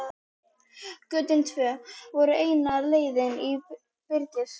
Götin tvö voru eina leiðin inn í byrgið.